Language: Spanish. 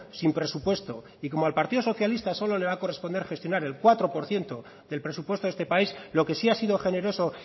sin presupuesto y como al partido socialista solo le va a corresponder gestionar el cuatro por ciento del presupuesto de este país lo que sí ha sido generoso